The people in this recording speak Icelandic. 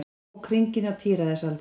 Ók hringinn á tíræðisaldri